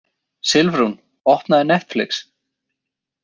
Silfrún, opnaðu Netflix.